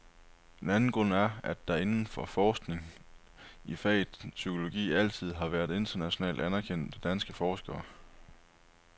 En anden grund er, at der inden for forskningen i faget psykologi altid har været internationalt anerkendte danske forskere.